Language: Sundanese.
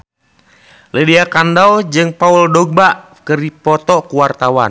Lydia Kandou jeung Paul Dogba keur dipoto ku wartawan